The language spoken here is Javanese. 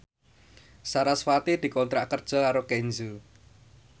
sarasvati dikontrak kerja karo Kenzo